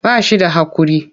Ba shi da haƙuri.